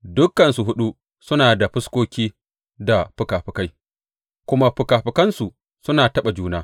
Dukansu huɗu suna da fuskoki da fikafikai, kuma fikafikansu suna taɓan juna.